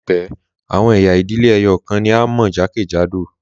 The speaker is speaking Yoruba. Laipẹ, àwọn ẹ̀yà ìdílé ẹyọkan ni a mọ̀ jákèjádò.